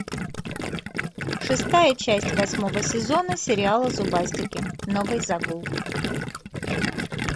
шестая часть восьмого сезона сериала зубастики новый загул